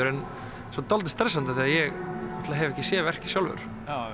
en dálítið stressandi því ég náttúrulega hef ekki séð verkið sjálfur